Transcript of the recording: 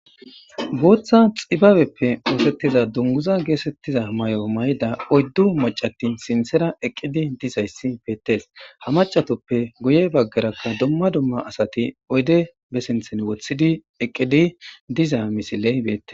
booththa xibabeppe oosettiza dunguza geesettiza may7o may7da oyddu macati sintsera eqqidi dizayssi beettees ha macatoppe guye baggarakka domma domma asati oyde be sinthin wothidi eqqidi diza misile hibeette